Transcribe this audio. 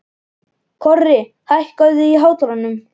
Korri, hækkaðu í hátalaranum.